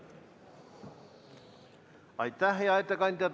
Aitäh, hea ettekandja!